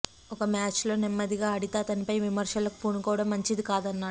ఒక మ్యాచ్లో నెమ్మదిగా ఆడితే అతనిపై విమర్శలకు పూనుకోవడం మంచిది కాదన్నాడు